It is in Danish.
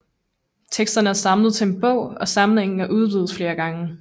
Teksterne er samlet til en bog og samlingen er udvidet flere gange